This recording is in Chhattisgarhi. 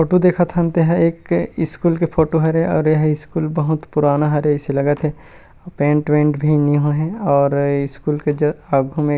फोटो देखत हन तेहा एक स्कूल के फोटो हरे और एहा स्कूल बहुत पुराना हरे अइसे लगत हे अऊ पेंट वेंट भी नई होये हे और ए स्कूल के ज अब हमे--